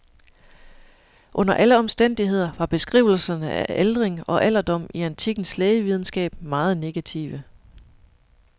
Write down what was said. Under alle omstændigheder var beskrivelserne af aldring og alderdom i antikkens lægevidenskab meget negative.